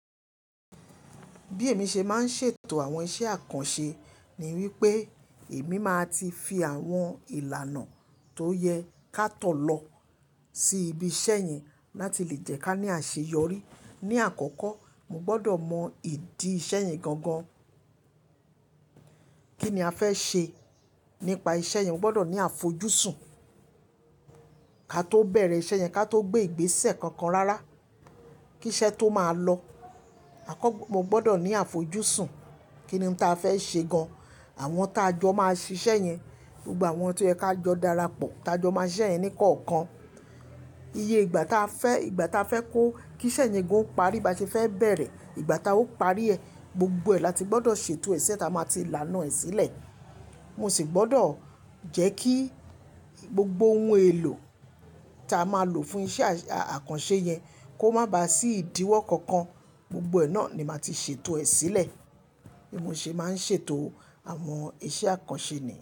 Bí èmi ṣe máa ń ṣètò àwọn iṣẹ́ àkànṣe ni wípé èmi máa ti fi àwọn ìlànà tó yẹ ká tọ̀ lọ sí ibi iṣẹ́ yẹn láti lè jẹ́ kí a ní àṣeyọrí. Ni àkọ́kọ́, mo gbọ́dọ̀ mọ ìdí iṣẹ́ yẹn gan gan. Kí ni a fẹ́ ṣe nípa iṣẹ́ yẹn? Mo gbọ́dọ̀ ní àfojúsùn ká tó bẹ̀rẹ̀ iṣẹ́ yẹn, ká tó gbé ìgbésẹ̀ kankan rárá. Kí iṣẹ́ tó máa lọ. Mo gbọ́dọ̀ ní àfojúsùn kíni táa fẹ́ ṣe gan. Àwọn táa jọ máa ṣíṣe yẹn gbogbo àwọn tó yẹ ká jọ darapọ̀. Taa jọ máa ṣẹ yẹn ní kọ̀ọ̀kan. Iye ìgbà táa fẹ́, ìgbà táa fẹ́ kó kí iṣẹ́ yẹn ó parí. Bí a ti fẹ́ bẹ̀rẹ̀, ìgbà táa ó parí ẹ̀, gbogbo ẹ̀ láti gbọ́dọ̀ ṣètò ẹ sí iṣẹ́ táa máa ti laná ẹ sílẹ̀. Mo sì gbọ́dọ̀ jẹ́ kí gbogbo ohun èlò táa máa lò fún iṣẹ́ àkànṣe yẹn kó má ba à sí ìdíwọ́ kankan. Gbogbo ẹ̀ náà ni màá ti ṣètò ẹ sílẹ̀. Bí mo ṣe máa ń ṣètò àwọn iṣẹ́ àkànṣe ni.